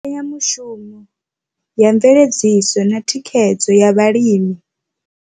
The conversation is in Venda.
Mbekanyamushumo ya mveledziso na thikhedzo ya vhalimi.